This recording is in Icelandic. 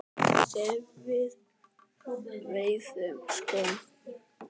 Sem við veiðum sko?